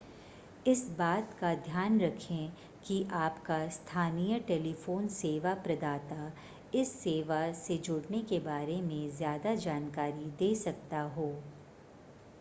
इस बात का ध्यान रखें कि आपका स्थानीय टेलीफोन सेवा प्रदाता इस सेवा से जुड़ने के बारे में ज़्यादा जानकारी दे सकता हो